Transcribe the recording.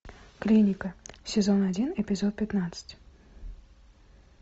клиника сезон один эпизод пятнадцать